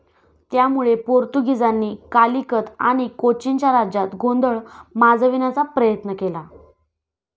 त्यामुळे पोर्तुगीजांनी कालिकत आणि कोचीनच्या राज्यात गोंधळ माजविण्याचा प्रयत्न केला.